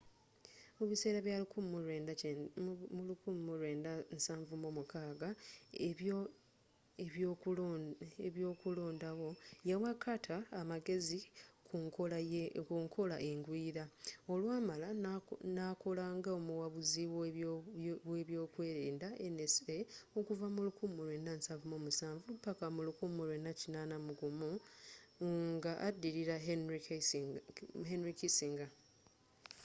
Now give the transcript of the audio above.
mu biseera bya 1976 ebyoku londawo yawa carter amagezi kunkola engwira olwamala nakola nga omuwabuzi webyokwerinda nsa okuva mu 1977 paka mu 1981 nga addirira henry kissinger